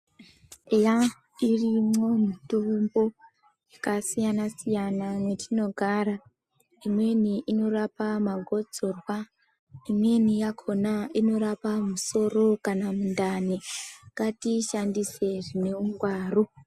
Eya ,irimwo mitombo yakasiyana-siyana mwetinogara. Imweni norapa magotsorwa, imweni yakhona inorapa musoro kana mundani. Ngatiishandise zvine ungwaru.